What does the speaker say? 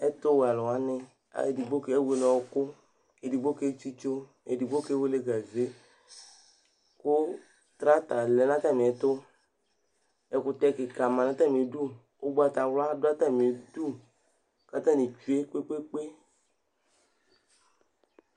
Ɛtʋwɛalʋ wanɩ, edigbo kewele ɔɣɔkʋ, edigbo ketsitso, edigbo kewele gaze kʋ trata lɛ nʋ atamɩɛtʋ Ɛkʋtɛ kɩka ma nʋ atamɩdu Ʋgbatawla dʋ atamɩdu kʋ atanɩ tsue kpe-kpe-kpe